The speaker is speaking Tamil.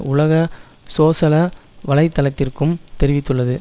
உலக சோசல வலை தளத்திற்கும் தெரிவித்துள்ளது